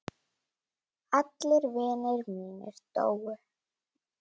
Allir vinir mínir dóu.